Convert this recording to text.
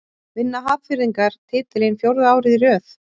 Vinna Hafnfirðingar titilinn fjórða árið í röð?